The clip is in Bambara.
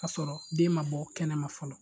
O y'a sɔrɔ den ma bɔ kɛnɛma fɔlɔ.